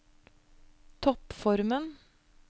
toppformen